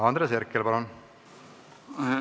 Andres Herkel, palun!